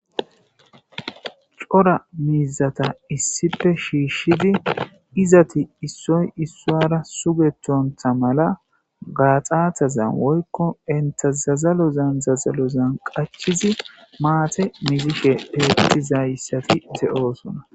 cora miizata issife shiishshidi izati issoy issoara sugetontha mala gaaxatazan woykko entazazalozan zazalozan qachizi maate mizike heettizayssafi de7oosona